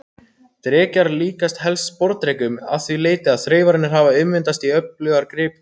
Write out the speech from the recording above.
Drekar líkjast helst sporðdrekum að því leyti að þreifararnir hafa ummyndast í öflugar griptangir.